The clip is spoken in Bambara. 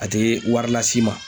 A tɛ wari las'i ma.